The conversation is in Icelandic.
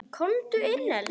Komdu inn, elskan!